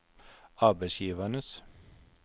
arbeidsgivernes